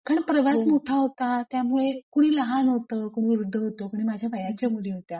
कारण प्रवास मोठा होता. त्यामुळे कुणी लहान होतं कुणी वृद्ध होत कोणी माझ्या वयाच्या मुली होत्या.